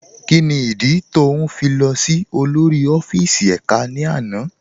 Kíni ìdí tó ń fi lọ sí olórí ọfíìsì èká ní àná?